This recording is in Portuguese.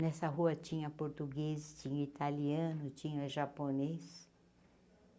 Nessa rua tinha português, tinha italiano, tinha japonês.